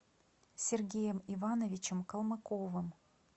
сергеем ивановичем калмыковым